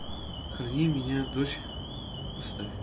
храни меня дочь поставь